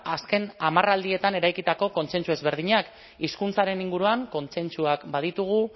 azken hamarraldietan eraikitako kontsentsu ezberdinak hizkuntzaren inguruan kontsentsuak baditugu